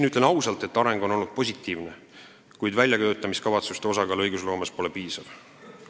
Ütlen ausalt, et areng on olnud positiivne, kuid väljatöötamiskavatsuste osakaal õigusloomes pole piisav.